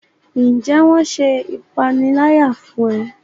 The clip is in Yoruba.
Njé wón ṣe ìpaniláyà fún e?